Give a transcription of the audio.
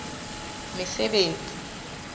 mesebetsi